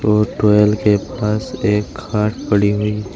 और ट्वेल के पास एक खाट पड़ी हुई है।